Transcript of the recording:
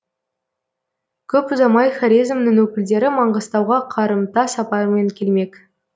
көп ұзамай хорезмнің өкілдері маңғыстауға қарымта сапармен келмек